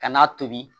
Ka n'a tobi